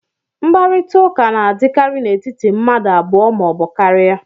mkparịta ụka na-adịkarị n'etiti mmadụ abụọ ma ọ bụ karịa